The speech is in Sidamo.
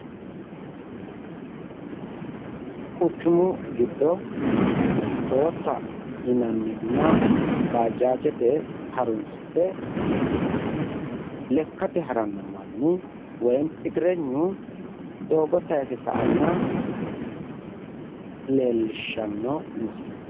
Quchumu giddo tootta yinannihunna bajaajete harunsite lekkate haranno manni woyi igirenyu doogo tayise sa"anna leellishshanno misile.